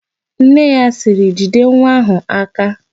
Nne ya sịrị, "jide nwa áhụ̀ aka"!